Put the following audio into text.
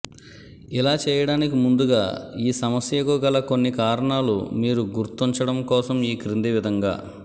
ఇలా చేయడానికి ముందుగా ఈ సమస్యకు గల కొన్ని కారణాలు మీరు గుర్తుంచడం కోసం ఈ క్రింది విధంగా